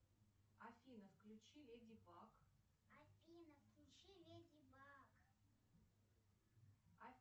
афина включи леди баг